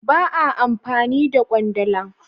Ba a amfani da kwandala.